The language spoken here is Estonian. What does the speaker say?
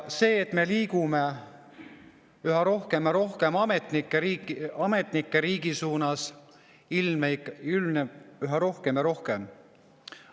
See, et me liigume üha rohkem ja rohkem ametnike riigi suunas, ilmneb üha rohkem ja rohkem.